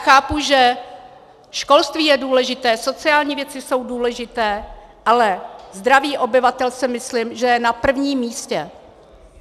Chápu, že školství je důležité, sociální věci jsou důležité, ale zdraví obyvatel, si myslím, že je na prvním místě.